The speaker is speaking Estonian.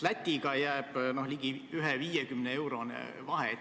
Lätiga jääb ligi 1,50-eurone vahe.